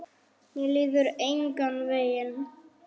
Mér líður engan veginn.